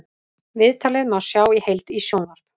Viðtalið má sjá í heild í sjónvarp